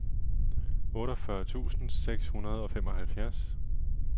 otteogfyrre tusind seks hundrede og femoghalvfjerds